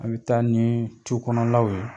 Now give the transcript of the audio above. An bɛ taa nii cu kɔnɔlaw ye